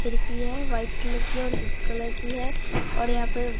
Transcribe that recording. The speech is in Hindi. खिड़की है व्हाइट कलर की और कलर की है और यहां पे--